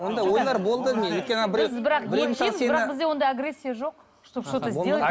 ондай ойлар болды менде бірақ бізде ондай агрессия жоқ чтоб что то сделать